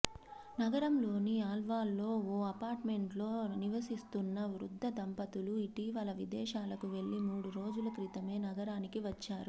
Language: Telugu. నగరంలోని అల్వాల్లో ఓ అపార్టుమెంట్లో నివసిస్తున్న వృద్ధ దంపతులు ఇటీవల విదేశాలకు వెళ్లి మూడు రోజుల క్రితమే నగరానికి వచ్చారు